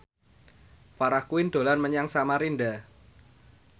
Farah Quinn dolan menyang Samarinda